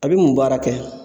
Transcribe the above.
A be mun baara kɛ